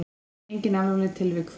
Engin alvarleg tilvik þó.